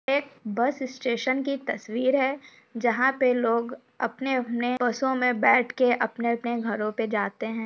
एक bus station की तस्वीर है जहाँ पे लोग अपने अपने बसों मे बैठ के अपने अपने घरो पे जाते है।